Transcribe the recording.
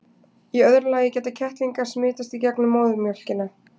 í öðru lagi geta kettlingar smitast í gegnum móðurmjólkina